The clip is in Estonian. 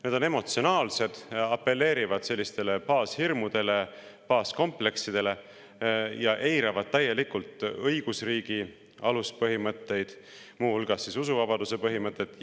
Need on emotsionaalsed, apelleerivad baashirmudele ja baaskompleksidele ning eiravad täielikult õigusriigi aluspõhimõtteid, muu hulgas usuvabaduse põhimõtet.